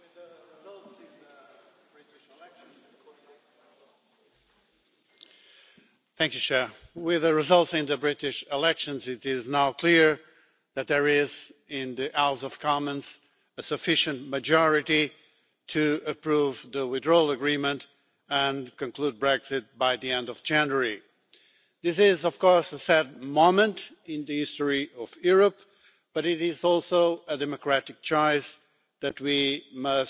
Madam President, with the results in the British elections, it is now clear that there is in the House of Commons a sufficient majority to approve the withdrawal agreement and conclude Brexit by the end of January. This is, of course, a sad moment in the history of Europe, but it is also a democratic choice that we must respect.